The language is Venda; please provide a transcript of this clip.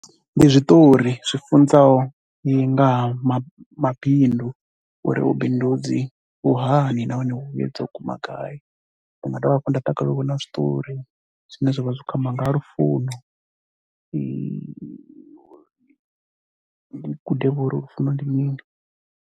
Ndi zwiṱori zwi funzaho nga ha mabindu uri vhubindudzi vhu hani nahone vhuyedza u guma gai. Nda dovha hafhu nda takalalela u vhona zwiṱori zwine zwa vha zwi khou amba nga ha lufuno. Ndi gudevho uri lufuno ndi mini.